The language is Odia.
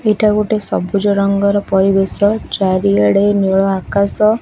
ଏଇଟା ଗୋଟେ ସବୁଜ ରଙ୍ଗର ପରିବେଶ ଚାରିଆଡ଼େ ନୀଳ ଆକାଶ।